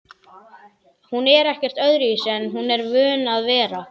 Hún er ekkert öðruvísi en hún er vön að vera